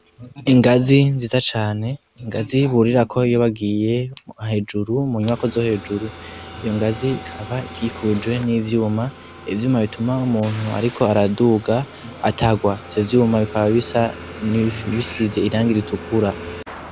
Ingazi nziza cane, ingazi burirako iyo bagiye hejuru mu nyubako zo hejuru, iyo ngazi ikaba ikikujwe n'ivyuma, ivyuma bituma umuntu ariko araduga atagwa, ivyo vyuma bikaba bisa bisize irangi ritukura.